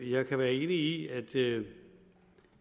jeg kan være enig i